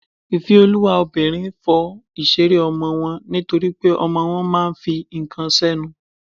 ìfẹ́olúwa obìnrin fọ ìṣeré ọmọ wọn nítorípé ọmọ wọn máà ń fi ǹkan sẹ́nu.